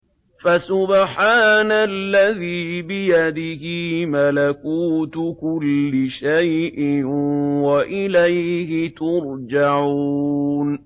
فَسُبْحَانَ الَّذِي بِيَدِهِ مَلَكُوتُ كُلِّ شَيْءٍ وَإِلَيْهِ تُرْجَعُونَ